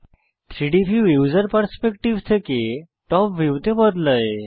3ডি view user perspective থেকে top ভিউতে বদলায়